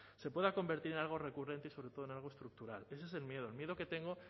se pueda convertir en algo recurrente y sobre todo en algo estructural ese es el miedo el miedo que tengo